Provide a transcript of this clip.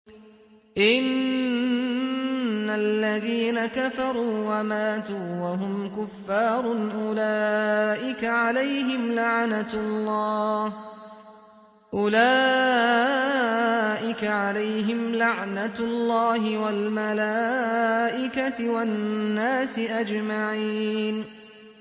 إِنَّ الَّذِينَ كَفَرُوا وَمَاتُوا وَهُمْ كُفَّارٌ أُولَٰئِكَ عَلَيْهِمْ لَعْنَةُ اللَّهِ وَالْمَلَائِكَةِ وَالنَّاسِ أَجْمَعِينَ